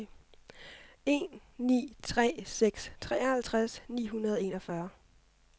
en ni tre seks treoghalvtreds ni hundrede og enogfyrre